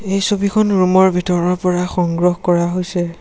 এই ছবিখন ৰুমৰ ভিতৰৰ পৰা সংগ্ৰহ কৰা হৈছে।